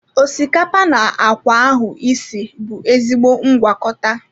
Osikapa na akwa ahụ isi bụ ezigbo ngwakọta.